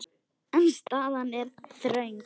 En staðan er þröng.